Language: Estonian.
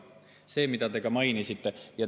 See on see, mida te ka mainisite.